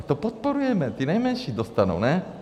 A to podporujeme, ty nejmenší dostanou, ne?